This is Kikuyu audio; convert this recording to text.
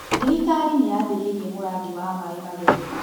Thirikari nĩyambĩrĩirie mũrandi wa maĩ matheru